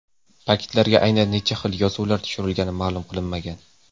Paketlarga aynan necha xil yozuvlar tushirilgani ma’lum qilinmagan.